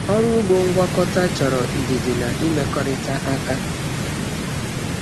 Ọrụ ugbo ngwakọta chọrọ ndidi na imekọrịta aka.